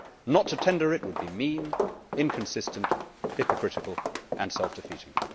Not to tender it would be mean, inconsistent, hypocritical and self defeating.